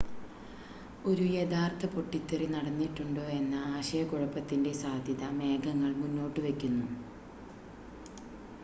ഒരു യഥാർത്ഥ പൊട്ടിത്തെറി നടന്നിട്ടുണ്ടോ എന്ന ആശയക്കുഴപ്പത്തിൻ്റെ സാധ്യത മേഘങ്ങൾ മുന്നോട്ടുവയ്ക്കുന്നു